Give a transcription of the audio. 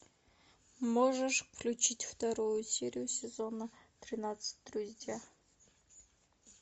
можешь включить вторую серию сезона тринадцать друзья